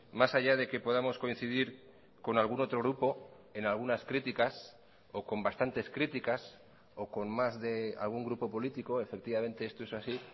más allá de que podamos coincidir con algún otro grupo en algunas críticas o con bastantes críticas o con más de algún grupo político efectivamente esto es así